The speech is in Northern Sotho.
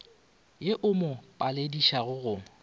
ye e mo paledišago go